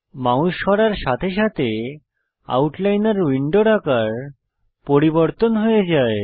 mouse সরার সাথে সাথে আউটলাইনর উইন্ডোর আকার পরিবর্তন হয়ে যায়